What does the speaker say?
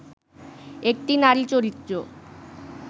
একটি নারী চরিত্র